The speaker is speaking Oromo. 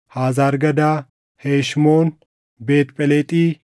Hazar Gadaa, Heshmoon, Beet Phelexi,